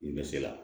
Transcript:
N bɛ se la